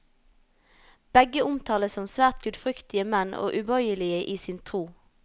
Begge omtales som svært gudfryktige menn og ubøyelige i sin tro.